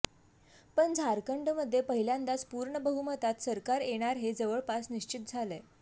पण झारखंडमध्ये पहिल्यांदाच पूर्ण बहुमतात सरकार येणार हे जवळपास निश्चित झालंय